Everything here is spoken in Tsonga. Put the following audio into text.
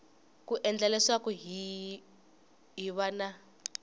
ku endla leswaku hiv na